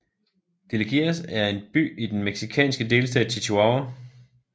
Delicias er en by i den mexikanske delstat Chihuahua